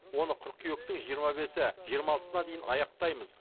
оны қыркүйектің жиырма бесі жиырма алтысына дейін аяқтаймыз